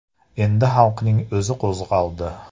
Endi xalqning o‘zi qo‘zg‘aldi.